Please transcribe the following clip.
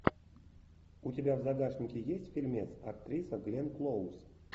у тебя в загашнике есть фильмец актриса гленн клоуз